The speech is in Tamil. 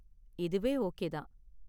இதுவே ஓகே தான்.